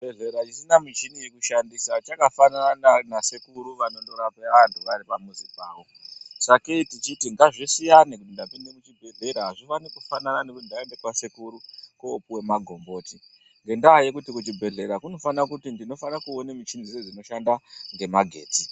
Chibhehleya chisina michini yekushandisa chakafanana na nasekuru vanondorape vantu vari pamuzi pawo. Sakei tichiti ngazvisiyane kuti ndapinde muchibhehlera hazvifani kufanana nekuti ndaenda kwasekuru kopiwe magomboti ngendaa yekuti kuchibhehlera kunofana kuti ndinofana kuone michini dzeshe dzinoshanda ngemagetsi.